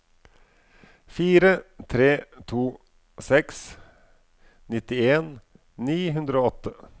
fire tre to seks nittien ni hundre og åtte